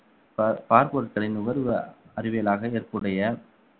பா~ பார்பொருட்களின் நுகர்வ அறிவியலாக ஏற்புடைய